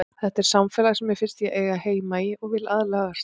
Þetta er samfélag sem mér finnst ég eiga heima í og vil aðlagast.